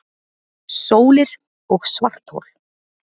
Sólir og svarthol